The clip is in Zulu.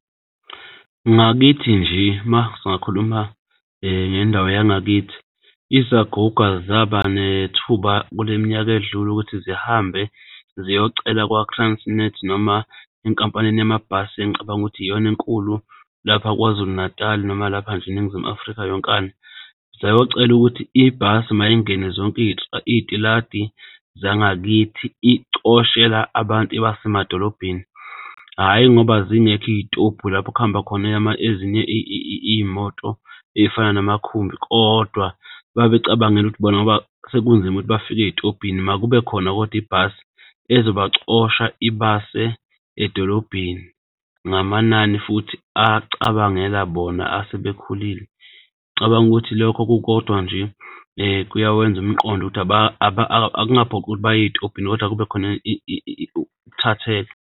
Ngakithi nje uma singakhuluma ngendawo yangakithi, izaguga zaba nethuba kule minyaka edlule ukuthi zihambe ziyocela kwa-Transnet noma enkampanini yamabhasi engicabanga ukuthi iyona enkulu lapha KwaZulu-Natal noma lapha nje eNingizimu Afrika yonkana. Sayocela ukuthi ibhasi mayingene zonke iy'tiladi zangakithi icoshela abantu ibase emadolobheni, hhayi ngoba zingekho iy'tobhu lapho okuhamba khona ezinye iy'moto ey'fana zamakhumbi. Kodwa babecabangela ukuthi bona ngoba sekunzima ukuthi bafike ey'tobhini makube khona kodwa ibhasi ezobacosha ibase edolobheni ngamanani futhi acabangela bona asebekhulile. Cabanga ukuthi lokho kukodwa nje kuyawenza umqondo ukuthi akungaphoqwa ukuthi baye ey'tobhini kodwa kube khona ukuthathelwa.